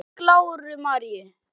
Blessuð sé minning Láru Maríu.